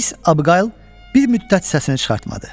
Miss Abiqayıl bir müddət səsini çıxartmadı.